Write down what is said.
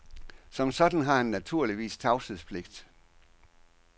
Som sådan har han naturligvis tavshedspligt.